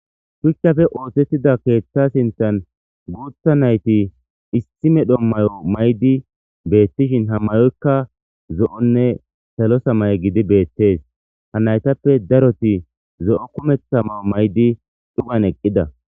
Shuchappe oosettida keetha sinthan guutha nayti issi medho mayo mayidi beettishin ha mayoykka zo7onne salo samaye gidi beettees. Ha naytappe daroti zo7o kumetha mayo mayidi dhuman eqqida.